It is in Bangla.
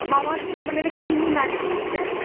Mamaearth খুব creamy matte finish দেয় নাকি?